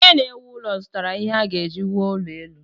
Onye na-ewu ụlọ zụtara ihe a ga-eji wuo ụlọ elu.